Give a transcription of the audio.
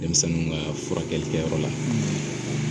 Denmisɛnninw kaa furakɛlikɛyɔrɔ la